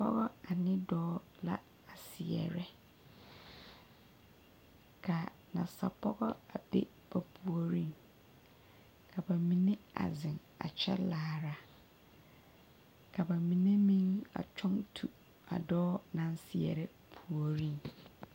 Pɔgeba ane dɔɔ la a seɛrɛ ka nasapɔge a be ba puoriŋ ka ba mine a zeŋ a kyɛ laara ka ba mine meŋ a kyɔŋ tu a dɔɔ naŋ seɛrɛ puoriŋ.